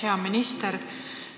Hea minister!